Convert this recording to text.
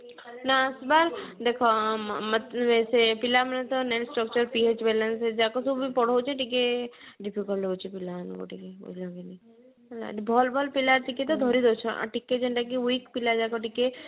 ନ ଆସବା ଦେଖା ଆଁ ମତଲବ ସେ ପିଲା ମାନେ ତ ସେ ଯାକ ସବୁ ପଢଉଛେ ଟିକେ difficult ହଉଛି ପିଲାମାନଙ୍କୁ ଟିକେ ବୁଝିଲ କି ନାଇ ହେଲା ଭଲ ଭଲ ପିଲା ଟିକେ ତ ଧରି ଦଉଛ ଆଉ ଟିକେ ଯୋଉଟା କି weak ପିଲା ଯାକ ଟିକେ